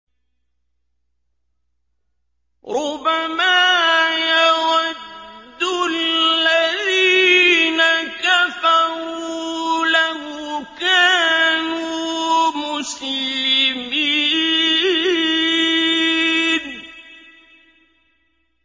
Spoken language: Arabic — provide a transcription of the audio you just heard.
رُّبَمَا يَوَدُّ الَّذِينَ كَفَرُوا لَوْ كَانُوا مُسْلِمِينَ